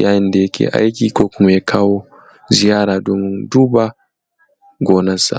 yayin da yake aiki ko kuma ya kawo ziyara don duba gonansa